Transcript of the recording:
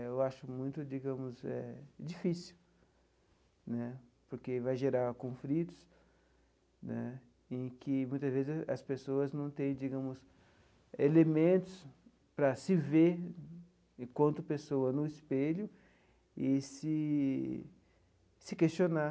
Né eu acho muito, digamos eh, difícil né, porque vai gerar conflitos né em que muitas vezes as pessoas não têm, digamos, elementos para se ver enquanto pessoa no espelho e se se questionar.